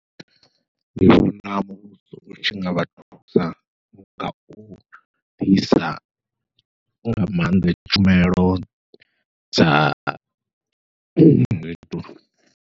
Ndi vhona muvhuso utshi ngavha thusa ngau ḓisa nga maanḓa tshumelo dza